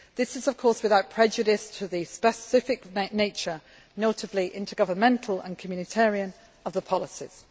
This is, of course, without prejudice to the specific nature, notably intergovernmental and communitarian, of the policies.